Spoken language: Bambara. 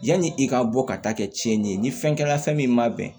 Yanni i ka bɔ ka taa kɛ tiɲɛni ye ni fɛn kɛra fɛn min ma bɛn